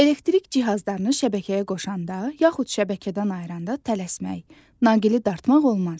Elektrik cihazlarını şəbəkəyə qoşanda yaxud şəbəkədən ayıranda tələsmək, naqili dartmaq olmaz.